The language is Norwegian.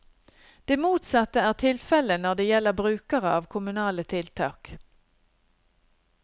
Det motsatte er tilfelle når det gjelder brukere av kommunale tiltak.